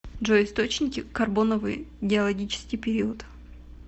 джой источники карбоновый геологический период